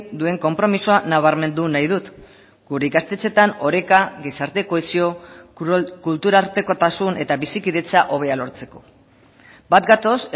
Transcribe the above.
duen konpromisoa nabarmendu nahi dut gure ikastetxeetan oreka gizarte kohesio kulturartekotasun eta bizikidetza hobea lortzeko bat gatoz